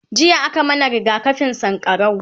jiya a ka mana rigakafin sankarau